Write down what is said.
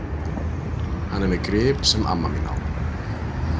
Hann er með grip sem amma mín á.